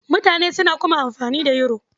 Mutane suna kuma amfani da Yoro.